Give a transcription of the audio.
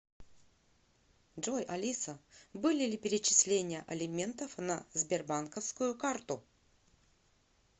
джой алиса были ли перечисления алиментов на сбербанковскую карту